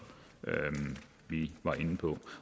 vi var inde på